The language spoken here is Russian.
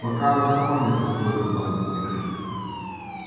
пока она сама не раскроет главный секрет